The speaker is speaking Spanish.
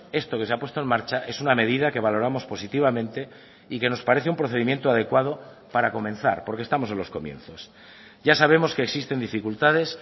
esto que se apuesto en marcha es una medida que valoramos positivamente y que nos parece un procedimiento adecuado para comenzar porque estamos en los comienzos ya sabemos que existen dificultades